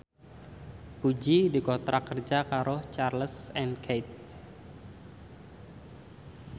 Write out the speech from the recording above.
Puji dikontrak kerja karo Charles and Keith